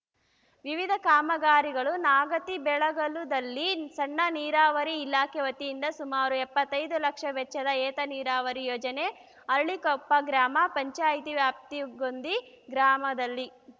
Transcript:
ವಿವಿಧ ಕಾಮಗಾರಿಗಳು ನಾಗತಿಬೆಳಗಲುದಲ್ಲಿ ಸಣ್ಣ ನೀರಾವರಿ ಇಲಾಖೆ ವತಿಯಿಂದ ಸುಮಾರು ಎಪ್ಪತ್ತೈದು ಲಕ್ಷ ವೆಚ್ಚದ ಏತ ನೀರಾವರಿ ಯೋಜನೆ ಅರಳಿಕೊಪ್ಪ ಗ್ರಾಮ ಪಂಚಾಯಿತಿ ವ್ಯಾಪ್ತಿ ಗೊಂದಿ ಗ್ರಾಮದಲ್ಲಿ